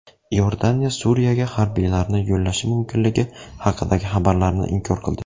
Iordaniya Suriyaga harbiylarini yo‘llashi mumkinligi haqidagi xabarlarni inkor qildi.